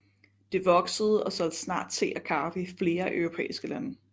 Det voksede og solgte snart te og kaffe i flere europæiske lande